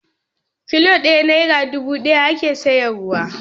Kilo ɗaya nera dubu ɗaya ake sayarwa.